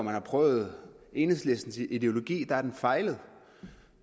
har afprøvet enhedslistens ideologi har den fejlet